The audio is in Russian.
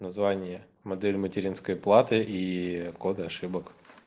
название модели материнской платы и коды ошибок